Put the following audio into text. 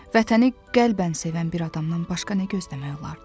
Vətəni qəlbən sevən bir adamdan başqa nə gözləmək olardı?